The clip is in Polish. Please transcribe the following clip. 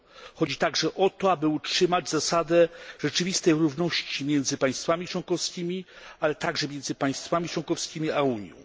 Chodzi także o to, aby utrzymać zasadę rzeczywistej równości między państwami członkowskimi, ale także między państwami członkowskimi a Unią.